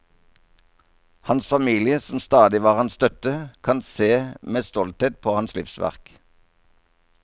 Hans familie, som stadig var hans støtte, kan se med stolthet på hans livsverk.